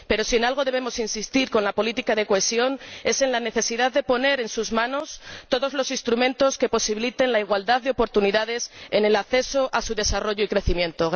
pero, si en algo debemos insistir con la política de cohesión, es en la necesidad de poner en sus manos todos los instrumentos que posibiliten la igualdad de oportunidades en el acceso a su desarrollo y crecimiento.